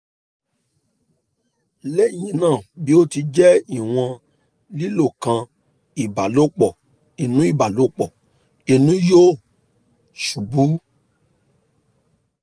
lẹhinna bi o ti jẹ iwọn lilo kan ibalopo inu ibalopo inu yoo ṣubu